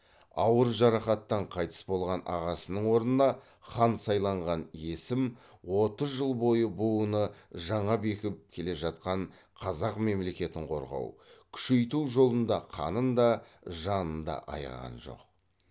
ауыр жарақаттан қайтыс болған ағасының орнына хан сайланған есім отыз жыл бойы буыны жаңа бекіп келе жатқан қазақ мемлекетін қорғау күшейту жолында қанын да жанын да аяған жоқ